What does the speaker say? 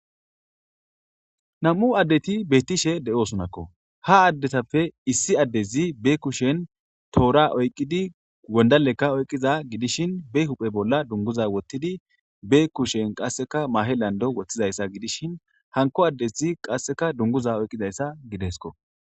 Nam7u addeti be7ittishe de7osonakko. Ha addetappe issi addezi be kushen toora oyqqidi gondalekka oyqqiza gidishin be huphe bolla dunguza wottidi be kushen qasseka mahe lando wottizayssa gidishin hanko addezi qasseka dunguza oyqizayssa gidesko.